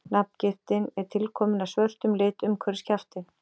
Nafngiftin er tilkomin af svörtum lit umhverfis kjaftinn.